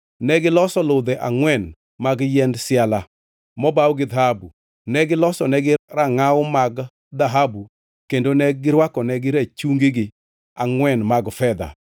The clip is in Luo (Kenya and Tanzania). Negiloso ludhe angʼwen mag yiend siala mobaw gi dhahabu. Ne gilosonegi rangʼaw mag dhahabu kendo ne girwakonegi rachungigi angʼwen mag fedha.